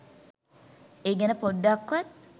ඒ ගැන පොඩ්ඩක්වත්